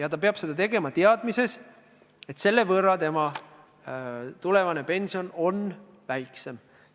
Aga ta peab seda tegema teadmises, et tema tulevane pension on selle võrra väiksem.